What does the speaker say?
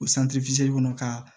O kɔnɔ ka